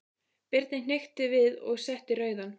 Birni hnykkti við og setti rauðan.